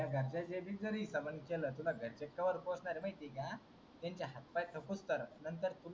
घरच्या च्या म्हताणी तरी केल. तुला घरचे तोवर पोसणार महिती आहे का? त्यांचे हात पाय थके पर्यन्त.